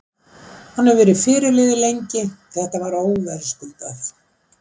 Hann hefur verið fyrirliði lengi, þetta var óverðskuldað.